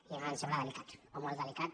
i a nosaltres ens sembla delicat o molt delicat